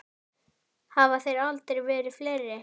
Hafa þeir aldrei verið fleiri.